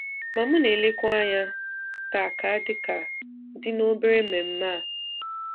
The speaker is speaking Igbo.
Ma m na-elekwa anya taa ka dị ka dị na obere mmemme a.